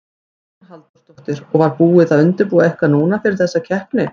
Hugrún Halldórsdóttir: Og var búið að undirbúa eitthvað núna fyrir þessa keppni?